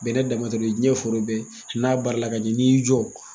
Bɛnɛ danma tɛ dɛ, o ye diɲɛ foro bɛɛ ye. N'a baara la ka ɲɛ, n'i y'i jɔ.